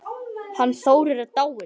Hann Þórir er dáinn